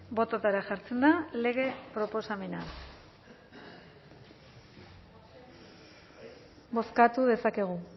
bototara jartzen da lege proposamena bozkatu dezakegu